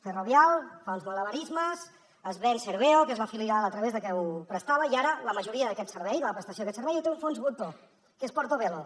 ferrovial fa uns malabarismes es ven serveo que és la filial a través de què ho prestava i ara la majoria d’aquest servei de la prestació d’aquest servei la té un fons voltor que és portobello